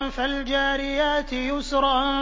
فَالْجَارِيَاتِ يُسْرًا